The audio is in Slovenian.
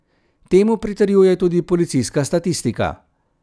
Temu pritrjuje tudi policijska statistika.